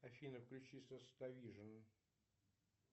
афина включи сотавижн